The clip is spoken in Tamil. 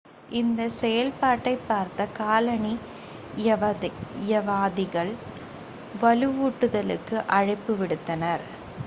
இந்தச் செயல்பாட்டைப் பார்த்த காலனியவாதிகள் வலுவூட்டுதலுக்கு அழைப்பு விடுத்தனர்